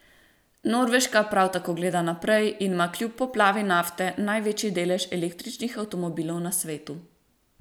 Norveška prav tako gleda naprej in ima kljub poplavi nafte največji delež električnih avtomobilov na svetu.